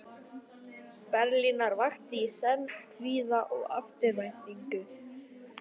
Berlínar vakti í senn kvíða og eftirvæntingu.